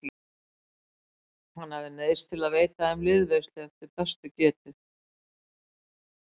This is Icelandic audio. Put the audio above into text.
Hann hafði neyðst til að veita þeim liðveislu eftir bestu getu.